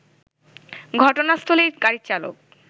ঘটনাস্থলেই গাড়ির চালক